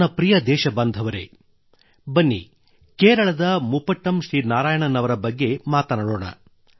ನನ್ನ ಪ್ರಿಯ ದೇಶಬಾಂಧವರೆ ಬನ್ನಿ ಕೇರಳದ ಮುಪಟ್ಟಮ್ ಶ್ರೀ ನಾರಾಯಣನ್ ಅವರ ಬಗ್ಗೆ ಮಾತನಾಡೋಣ